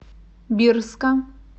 бирска